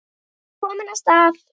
Kominn af stað.